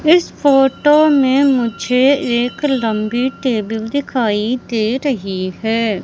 इस फोटो में मुझे एक लंबी टेबिल दिखाई दे रही है।